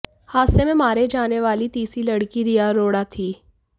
हादसे में मारे जान वाली तीसरी लड़की रिया अरोड़ा थी